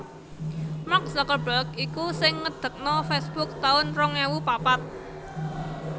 Mark Zuckerberg iku sing ngedekno Facebook tahun rong ewu papat